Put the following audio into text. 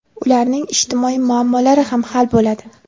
ularning ijtimoiy muammolari ham hal bo‘ladi.